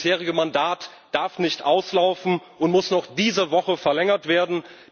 Das bisherige Mandat darf nicht auslaufen und muss noch diese Woche verlängert werden.